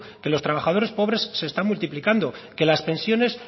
que los trabajadores pobres se están multiplicando que las pensiones